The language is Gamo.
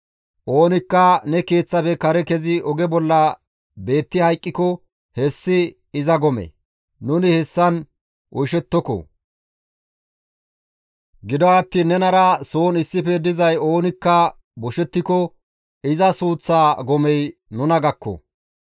Oonikka ne keeththafe kare kezi oge bolla beetti hayqqiko hessi iza gome; nuni hessan oyshshettoko; gido attiin nenara soon issife dizay oonikka boshettiko iza suuththa gomey nuna gakko.